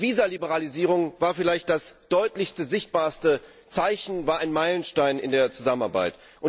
Die Visa Liberalisierung war vielleicht das deutlichste, sichtbarste Zeichen, war ein Meilenstein in der Zusammenarbeit.